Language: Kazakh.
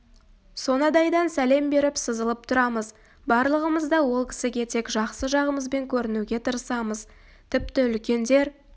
сонадайдан сәлем беріп сызылып тұрамыз барлығымыз да ол кісіге тек жақсы жағымызбен көрінуге тырысамыз тіпті үлкендер